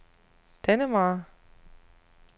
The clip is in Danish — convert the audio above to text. Dannemare